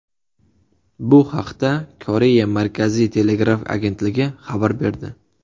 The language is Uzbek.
Bu haqda Koreya markaziy telegraf agentligi xabar berdi.